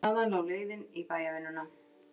Þaðan lá leiðin í bæjarvinnuna.